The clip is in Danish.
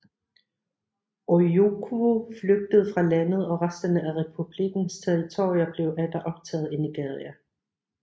Ojukwu flygtede fra landet og resterne af republikkens territorier blev atter optaget i Nigeria